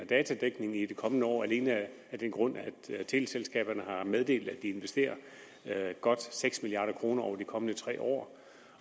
datadækningen i de kommende år alene af den grund at teleselskaberne har meddelt at de vil investere godt seks milliard kroner over de kommende tre år